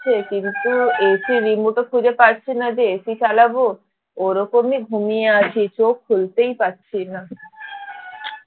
কিন্তু AC remote ও খুঁজে পাচ্ছি না জে AC চালাব ওরকমই ঘুমিয়ে আছি চোখ খুলতেই পারছি না